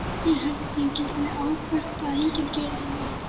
Ég held ég geti ábyrgst að enginn geri þér mein.